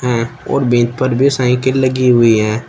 है और बेंच पर भी साइकिल लगी हुई हैं।